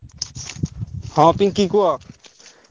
ହଁ ପିଙ୍କି କୁହ।